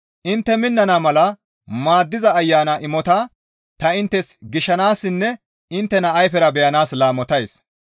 Intte minnana mala maaddiza Ayana imota ta intte gishshassinne inttena ayfera beyanaas laamotays.